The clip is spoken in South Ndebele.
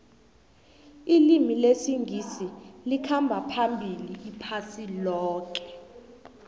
ilimi lesingisi likhamba phambili iphasi loke